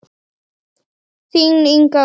Þín Inga Ósk.